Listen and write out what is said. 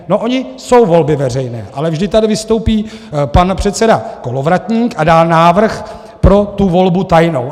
- No ony jsou volby veřejné, ale vždy tady vystoupí pan předseda Kolovratník a dá návrh pro tu volbu tajnou.